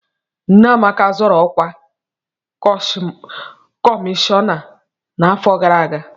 Nne Amaka zọrọ ọkwa kọmishọna n'afọ gara aga.